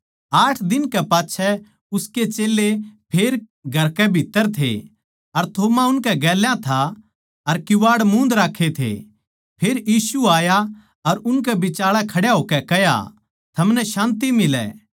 आठ दिन कै पाच्छै उसके चेल्लें फेर घर कै भीत्त्तर थे अर थोमा उनकै गेल्या था अर किवाड़ मूंद राक्खे थे फेर यीशु आया अर उनकै बिचाळै खड्या होकै कह्या थमनै शान्ति मिलै